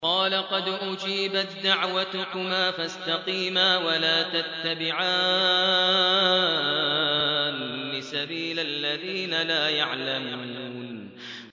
قَالَ قَدْ أُجِيبَت دَّعْوَتُكُمَا فَاسْتَقِيمَا وَلَا تَتَّبِعَانِّ سَبِيلَ الَّذِينَ لَا يَعْلَمُونَ